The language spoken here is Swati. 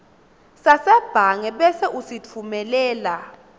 sasebhange bese usitfumelela